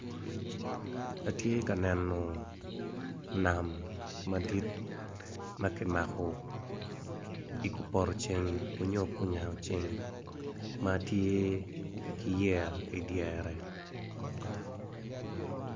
Attye ka neno nam madit ma kimako i kupoto ceng onyo kunyango ceng ma tye ki yeya idyere.